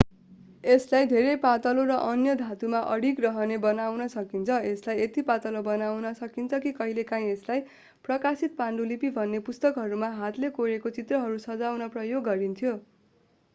यसलाई धेरै पातलो र अन्य धातुमा अडिग रहने बनाउन सकिन्छ यसलाई यति पातलो बनाउन सकिन्छ कि कहिलेकाहीँ यसलाई प्रकाशित पाण्डुलिपि भन्ने पुस्तकहरूमा हातले कोरेका चित्रहरू सजाउन प्रयोग गरिन्थ्यो